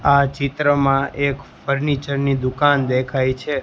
આ ચિત્રમાં એક ફર્નિચર ની દુકાન દેખાય છે.